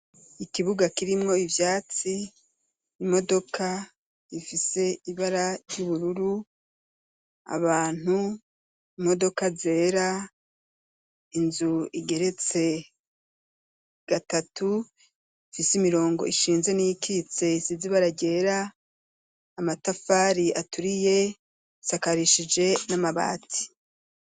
Ikibuga kirimwo ivyatsi imodoka ifise ibara ry'ubururu abantu imodoka zera inzu igeretse gatatu ifise imirongo ishinze n'ikitsesi zibara ryera amatau fari aturiye sakarishije n'amabati.